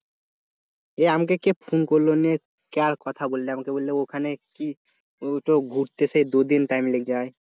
আমাকে কে ফোন করলো কার কথা বলল আমাকে বলল ওখানে কি ওইটা ঘুরতে সে দু'দিন টাইম লেগে যায়